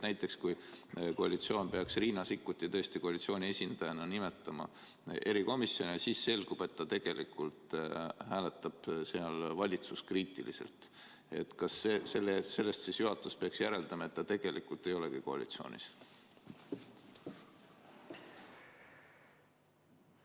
Näiteks, kas siis kui koalitsioon peaks Riina Sikkuti tõesti koalitsiooni esindajana nimetama erikomisjoni, aga selgub, et ta tegelikult hääletab seal valitsuskriitiliselt, peaks juhatus sellest järeldama, et ta tegelikult ei olegi koalitsioonis?